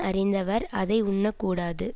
அறிந்தவர் அதை உண்ணக்கூடாது